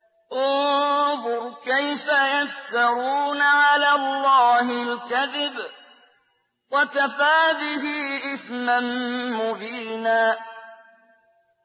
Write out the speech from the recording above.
انظُرْ كَيْفَ يَفْتَرُونَ عَلَى اللَّهِ الْكَذِبَ ۖ وَكَفَىٰ بِهِ إِثْمًا مُّبِينًا